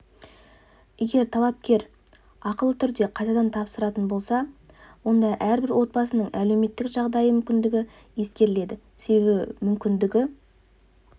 егер талапкер ақылы түрде қайтадан тапсыратын болса онда әрбір отбасының әлеуметтік жағдайы мүмкіндігі ескеріледі себебі мүмкіндігі